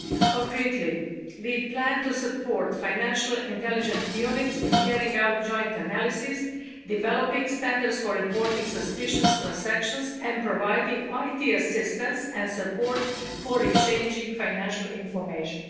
Concretely we plan to support financial intelligence units in carrying out joint analyses, developing standards for reporting suspicious transactions, and providing IT assistance and support for exchanging financial information.